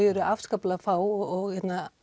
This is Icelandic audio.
eru afskaplega fá og